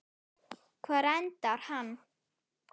Hvar endar hann?